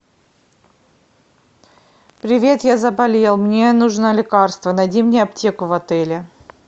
привет я заболел мне нужно лекарство найди мне аптеку в отеле